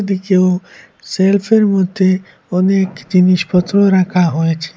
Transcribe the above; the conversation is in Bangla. ওদিকেও সেলফের মধ্যে অনেক জিনিসপত্র রাখা হয়েছে।